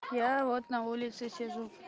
я вот на улице сижу